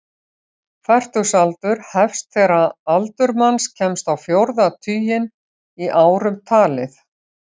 Fertugsaldur hefst þegar aldur manns kemst á fjórða tuginn í árum talið.